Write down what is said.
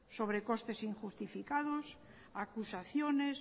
sobrecostes injustificados acusaciones